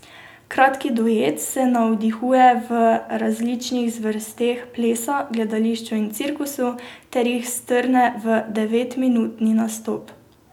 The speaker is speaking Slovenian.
Kratki duet se navdihuje v različnih zvrsteh plesa, gledališča in cirkusa ter jih strne v devetminutni nastop.